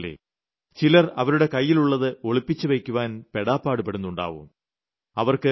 കാരണം എന്തെന്നല്ലേ ചിലർ അവരുടെ കൈയ്യിലുള്ളത് ഒളിപ്പിച്ചുവെയ്ക്കുവാൻ പെടാപാടുപെടുന്നുണ്ടാവും